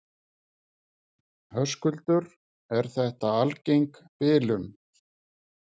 Höskuldur: Er þetta algeng bilun?